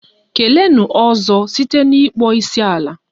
Keleenụ 'ozo' site n'ịkpọ isiala!